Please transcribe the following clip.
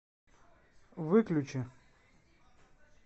выключи